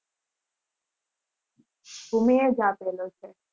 ભૂમી એજ આપેલો છે.